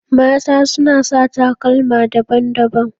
Mata suna sa takalma daban-daban.